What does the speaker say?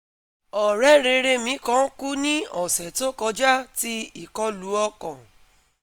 ọrẹ rere mi kan kú ni ọsẹ to kọja ti ikolu ọkan